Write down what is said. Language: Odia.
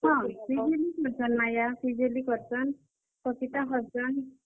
ହଁ, ପିଜୁଲି କରସନ୍, ମାୟା, ପିଜୁଲି କରସନ୍, ପପିତା କରସନ୍।